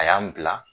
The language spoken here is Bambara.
A y'an bila